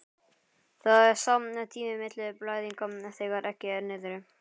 Það er sá tími milli blæðinga þegar eggið er niðri.